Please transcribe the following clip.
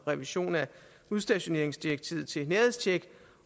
revision af udstationeringsdirektivet til nærhedstjek